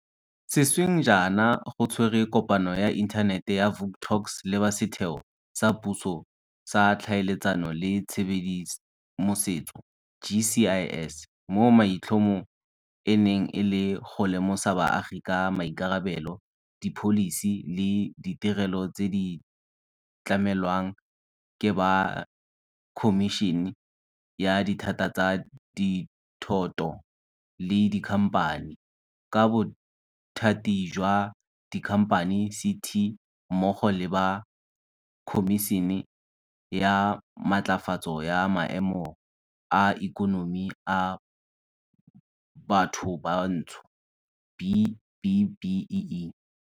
Sešweng jaana go tshwerwe kopano ya Inthanete ya Vuk Talks le ba Setheo sa Puso sa Tlhaeletsano le Tshedimosetso, GCIS, mo maitlhomo e neng e le go lemosa baagi ka maikarabelo, dipholisi le ditirelo tse di tlamelwang ke ba Khomišene ya Dithata tsa Dithoto le Dikhamphani, ba Bothati jwa Dikhamphani, CT, mmogo le ba Khomišene ya Matlafatso ya Maemo a Ikonomi a Bathobantsho B-BBEE.